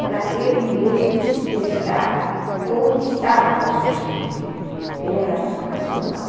para ele mesmo se testar como estava o raciocínio dele, porque ele era muito racional.